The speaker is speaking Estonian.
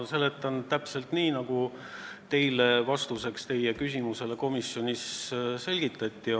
Ma seletan täpselt nii, nagu teile vastates seda komisjonis selgitati.